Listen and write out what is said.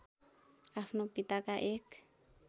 आफ्नो पिताका एक